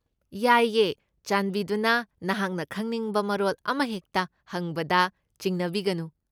ꯌꯥꯏꯌꯦ, ꯆꯥꯟꯕꯤꯗꯨꯅ ꯅꯍꯥꯛꯅ ꯈꯪꯅꯤꯡꯕ ꯃꯔꯣꯜ ꯑꯃꯍꯦꯛꯇ ꯍꯪꯕꯗ ꯆꯤꯡꯅꯕꯤꯒꯅꯨ?